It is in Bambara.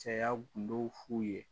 Cɛya kundow f'u ye